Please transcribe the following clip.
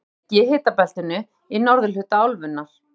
Öll eru þessi ríki í hitabeltinu í norðurhluta álfunnar.